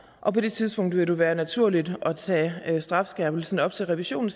og på det tidspunkt vil det være naturligt at tage strafskærpelsen op til revision